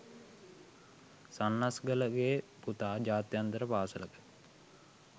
සන්නස්ගලගේ පුතා ජාත්‍යන්තර පාසලක